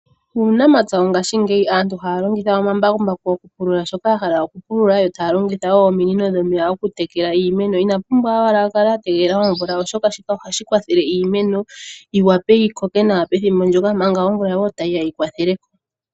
Uunamapya wongashiingeyi aantu ohaya longitha omambakumbaku okupulula shoka ya hala okupulula yo taya longitha wo ominino dhomeya okutekela iimeno. Ina pumbwa owala a kale a tegelela omvula, oshoka shika ohashi kwathele iimeno yi wape yi koke nawa pethimbo ndyoka manga wo omvula tayi ya yi kwathele ko.